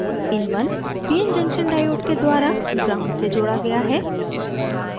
in1 pn junction diode के द्वारा gnd से जोड़ा गया है